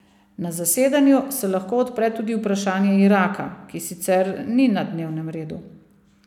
Na zasedanju se lahko odpre tudi vprašanje Iraka, ki sicer ni na dnevnem redu.